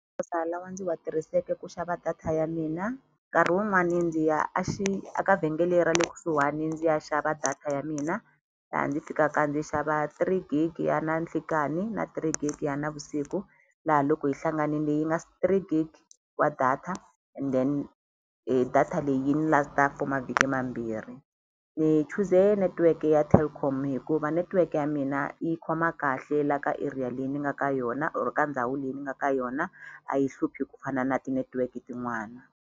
lawa ndzi wa tirhiseke ku xava data ya mina nkarhi wun'wani ndzi ya a aka vhengele ra le kusuhani ndzi ya xava data ya mina laha ndzi fikaka ndzi xava three gig ya na nhlikani na three gig ya navusiku laha loko yi hlanganile yi nga three gig wa data and then data leyi yi ni last-a for mavhiki mambirhi ni chuze netiweke ya Telkom hikuva netiweke ya mina yi khoma kahle la ka area leyi ni nga ka yona or ka ndhawu leyi ni nga ka yona a yi hluphi ku fana na ti-network tin'wana.